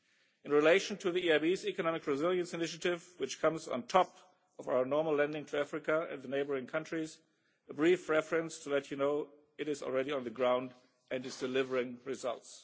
In relation to the EIB's Economic Resilience Initiative which comes on top of our normal lending to Africa and the neighbouring countries, a brief reference, to let you know, is that this is already there on the ground and is delivering results.